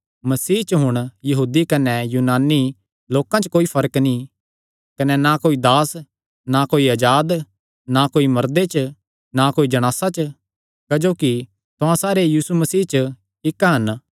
मसीह च हुण यहूदी कने यूनानी लोकां च कोई फर्क नीं कने ना कोई दास च ना कोई अजाद च ना कोई मर्दे च ना कोई जणासा च क्जोकि तुहां सारे यीशु मसीह च इक्क हन